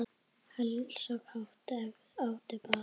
Heilsa kátt, ef áttu bágt.